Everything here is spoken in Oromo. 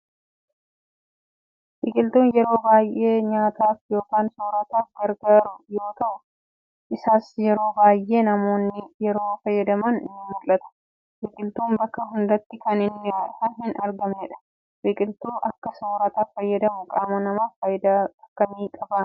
Biqiltuu yeroo baayee nyaataaf yookaan soorataaf gargaaru yoo ta'u, isas yeroo baayyee namoonni yeroo fayyadaman ni mullata. Biqiltuun bakka hundatti kan hin argamnedha. Biqiltuu akka sooraatti fayyadamuun qaama namaaf faayidaa akkamii qabaa?